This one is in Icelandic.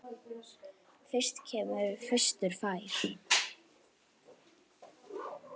Fyrstur kemur, fyrstur fær.